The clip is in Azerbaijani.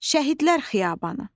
Şəhidlər xiyabanı.